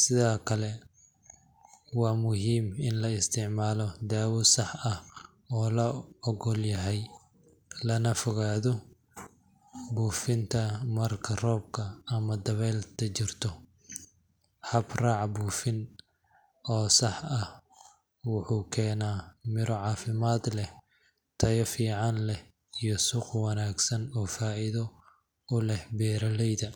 Sidoo kale, waa muhiim in la isticmaalo daawo sax ah oo la oggol yahay, lagana fogaado buufinta marka roob ama dabayl jirto. Hab-raac buufin oo sax ah wuxuu keenaa miro caafimaad leh, tayo fiican leh, iyo suuq wanaagsan oo faa'iido u leh beeraleyda.